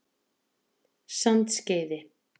Sandskeiði